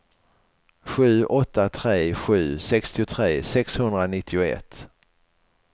sju åtta tre sju sextiotre sexhundranittioett